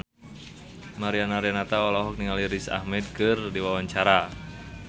Mariana Renata olohok ningali Riz Ahmed keur diwawancara